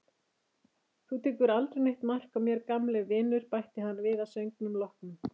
Þú tekur aldrei neitt mark á mér, gamli vinur, bætti hann við að söngnum loknum.